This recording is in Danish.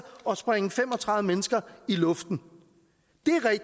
og sprænge fem og tredive mennesker i luften